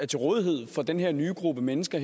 til rådighed for den her nye gruppe mennesker